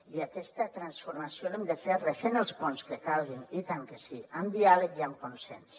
i aquesta transformació l’hem de fer refent els ponts que calguin i tant que sí amb diàleg i amb consens